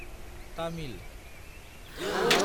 Tamil